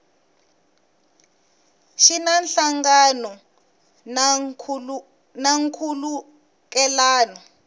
xi na nhlangano na nkhulukelano